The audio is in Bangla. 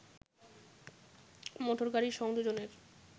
মোটর গাড়ির সংযোজনের